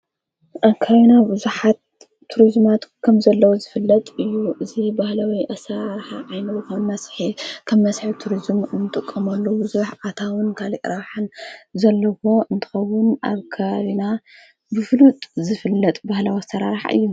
ኣካይይና ብዙኃት ቱርዝማት ከም ዘለዉ ዝፍለጥ እዩ ።እዙ በሃለወይ ኣሣርሕ ዓይኑኸን መስሐ ከም መሢሒ ቱርዝም እንጥቆምሎ ብዙኅ ኣታዉን ካልእራሓን ዘለዉዎ እንተኸዉን ኣብ ካሪና ብፍሉጥ ዝፍለጥ ባህለ ወተራርሕ እዩ።